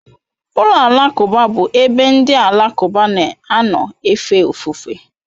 Ụlọ alakụba bụ ebe ndị Alakụba na-anọ efe ofufe.